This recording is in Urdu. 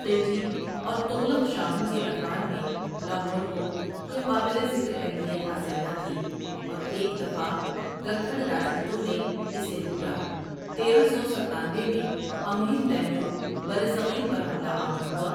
خلجی اور تغلق شاہوں کے ادوار میں لاہور کو کوئی قابلِ ذکر اہمیت حاصل نہ تھی اور ایک دفعہ گکھڑ راجپوتوں نے اسے لوٹا تیرہ سو ستانوے میں امیر تیمور برصغیر پر حملہ آور ہوا